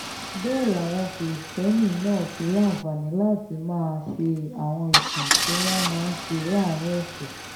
bẹ́ẹ̀ làwọn kristẹni náà ti láǹfààní láti máa ṣe àwọn ìsìn tí wọ́n máa ń ṣe láàrin ọ̀sẹ̀